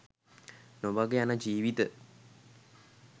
නොමඟ යන ජීවිත